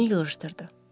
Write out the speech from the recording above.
Özünü yığışdırdı.